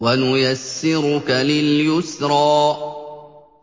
وَنُيَسِّرُكَ لِلْيُسْرَىٰ